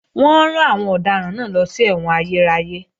Wọ́n rán àwọn ọ̀daràn náà lọ sí ẹ̀wọ̀n ayérayé